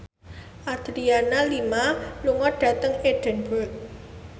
Adriana Lima lunga dhateng Edinburgh